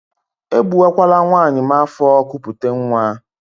E gbuwakwala nwaanyị m afọ kupute nwa!